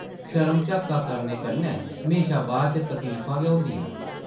शर्म-झाका करने कन्नै म्हेशां बाद च तकलीफां गै होंदियां न ।